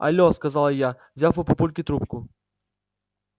алло сказала я взяв у папульки трубку